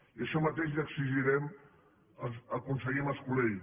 i això mateix li exigirem al conseller mas colell